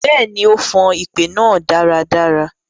Bẹẹni, o fan ipè naa daradara.